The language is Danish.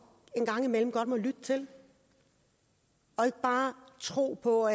en gang imellem godt må lytte til og ikke bare tro på